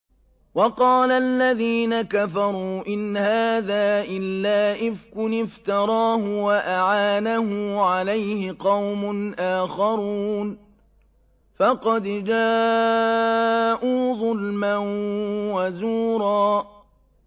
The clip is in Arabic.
وَقَالَ الَّذِينَ كَفَرُوا إِنْ هَٰذَا إِلَّا إِفْكٌ افْتَرَاهُ وَأَعَانَهُ عَلَيْهِ قَوْمٌ آخَرُونَ ۖ فَقَدْ جَاءُوا ظُلْمًا وَزُورًا